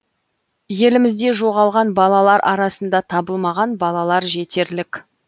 елімізде жоғалған балалар арасында табылмаған балалар жетерлік